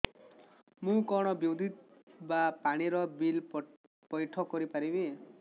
ମୁ କଣ ବିଦ୍ୟୁତ ବା ପାଣି ର ବିଲ ପଇଠ କରି ପାରିବି